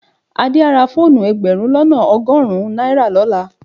Adé á ra fóònù ẹgbẹ̀rún lọ́nà ọgọ́rùn-ún náírà lọ́la.